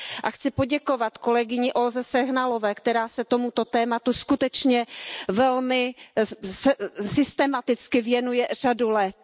A chci poděkovat kolegyni Olze Sehnalové, která se tomuto tématu skutečně velmi systematicky věnuje řadu let.